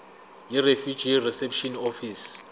yirefugee reception office